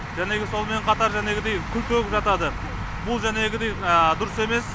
жәнегі сонымен қатар жәнегідей күл төгіп жатады бұл жәнегідей дұрыс емес